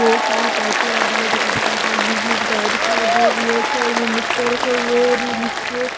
बहोत सारी पाइपें आ रही है जगह जगह और बिजली के तार दिखाई दे रही हैं और साइड में मटका रखा हुआ है और नीचे--